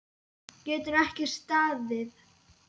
Getur ekki staðið.